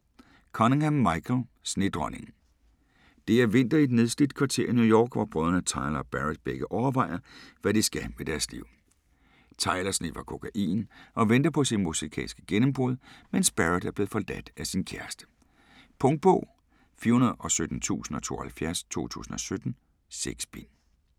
Cunningham, Michael: Snedronningen Det er vinter i et nedslidt kvarter i New York, hvor brødrene Tyler og Barrett begge overvejer, hvad de skal med deres liv. Tyler sniffer kokain og venter på sit musikalske gennembrud, mens Barrett er blevet forladt af sin kæreste. Punktbog 417072 2017. 6 bind.